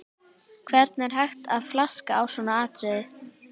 Hvernig er hægt að flaska á svona atriði?